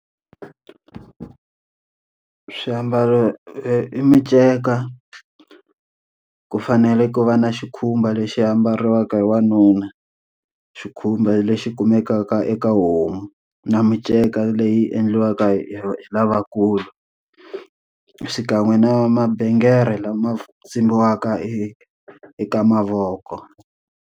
Swiambalo i minceka, ku fanele ku va na xikhumba lexi ambariwaka hi wanuna. Xikhumba lexi kumekaka eka homu na minceka leyi endliwaka hi hi lavakulu. Xikan'we na mabengere lama tsimbiwaka e eka mavoko.